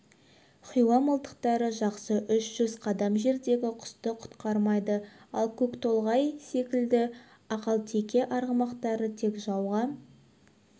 хиуа мылтықтары жақсы үш жүз қадам жердегі құсты құтқармайды ал көктолғай секілді ақалтеке арғымақтары тек жауға